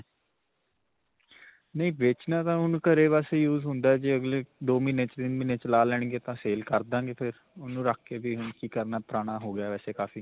ਨਹੀਂ ਵੇਚਣਾ ਤਾਂ ਹੁਣ ਘਰੇ ਬਸ use ਹੁੰਦਾ ਜੇ ਅਗਲੇ ਦੋ ਮਹੀਨੇ, ਛੇ ਮਹੀਨੇ ਚਲਾ ਲੈਣਗੇ ਤਾਂ sale ਕਰ ਦਵਾਂਗੇ ਫਿਰ. ਓਹਨੂੰ ਰੱਖ ਕੇ ਵੀ ਕੀ ਕਰਨਾ, ਪੁਰਾਣਾ ਹੋ ਗਿਆ ਵੈਸੇ ਕਾਫੀ.